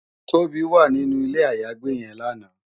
Tobi wá ninú ilé àyágbé yèn làná